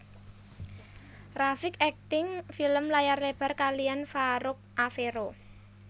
rafiq akting film layar lebar kaliyan Farouk Afero